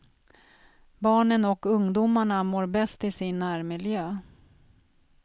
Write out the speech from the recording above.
Barnen och ungdomarna mår bäst i sin närmiljö.